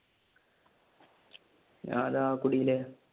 ഞാൻ ദാ കുടീല്